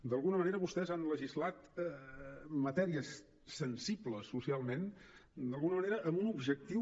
d’alguna manera vostès han legislat matèries sensibles socialment amb un objectiu